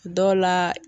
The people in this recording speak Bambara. Dɔw la